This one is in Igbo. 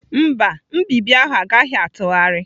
Mba, nbibi ahụ agaghị atụgharị.